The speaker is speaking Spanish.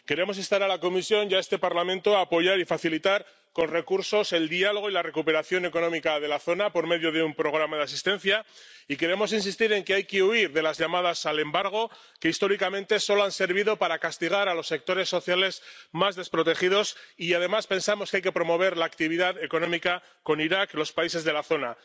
Queremos instar a la Comisión y a este Parlamento a apoyar y facilitar con recursos el diálogo y la recuperación económica de la zona por medio de un programa de asistencia y queremos insistir en que hay que huir de las llamadas al embargo, que históricamente solo han servido para castigar a los sectores sociales más desprotegidos, y, además, pensamos que hay que promover la actividad económica con Irak y los países de la zona.